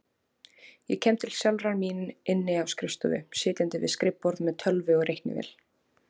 Ég kem til sjálfrar mín inni á skrifstofu, sitjandi við skrifborð með tölvu og reiknivél.